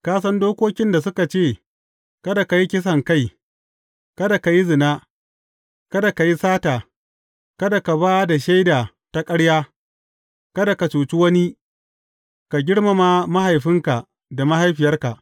Ka san dokokin da suka ce, Kada ka yi kisankai, kada ka yi zina, kada ka yi sata, kada ka ba da shaida ta ƙarya, kada ka cuci wani, ka girmama mahaifinka da mahaifiyarka.’